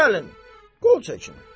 De gəlin, qol çəkin.